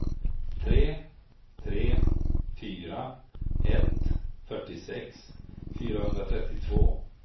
tre tre fyra ett fyrtiosex fyrahundratrettiotvå